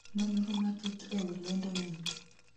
nonro matut ewi lendo ni